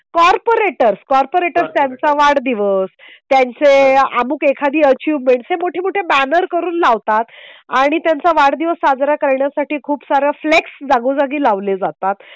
Corporators.. corporators त्याचा वाढदिवस त्यांचे अमुक एखादी अचीवमेंटचे मोठमोठे बॅनर करून लावतात आणि त्यांचा वाढदिवस साजरा करण्यासाठी खूप सारा फ्लेक्स जागोजागी लावले जातात.